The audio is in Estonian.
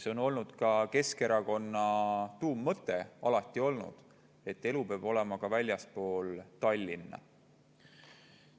See on alati olnud Keskerakonna tuummõte, et elu peab olema ka väljaspool Tallinna.